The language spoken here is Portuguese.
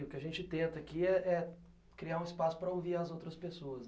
O que a gente tenta aqui é é é criar um espaço para ouvir as outras pessoas.